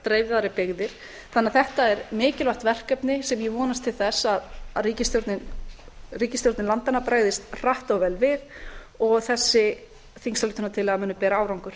dreifðari byggðir þannig að þetta er mikilvægt verkefni sem ég vonast til þess að ríkisstjórnir landanna bregðist hratt og vel við og þessi á muni bera árangur